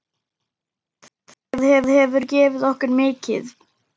Það hefur gefið okkur mikið.